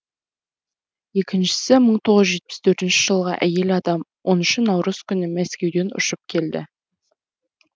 екіншісі мың тоғыз жүз жетпіс төртінші жылғы әйел адам оныншы наурыз күні мәскеуден ұшып келді